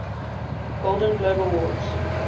golden globe awards